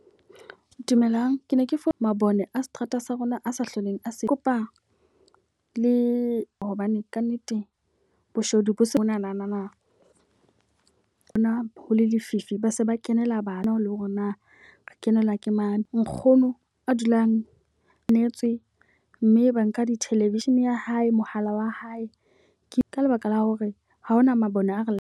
Dumelang, ke ne ke fuwe mabone a seterata sa rona a sa hloleng a se. Kopa le hobane ka nnete boshodu bo sonana bona ho le lefifi, ba se ba kenela bana le hore na re kenelwa ke mane. Nkgono a dulang natswe mme ba nka di-television ya hae mohala wa hae. Ka lebaka la hore ha hona mabone a re.